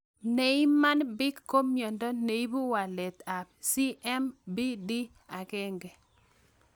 Niemann Pick ko miondo neipu walet ab SMPD1